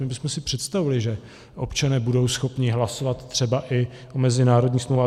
My bychom si představovali, že občané budou schopni hlasovat třeba i o mezinárodních smlouvách.